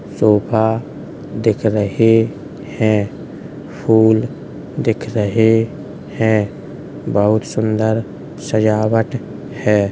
Sofa दिख रही है। फूल दिख रहे हैं। बहोत सुन्दर सजावट है।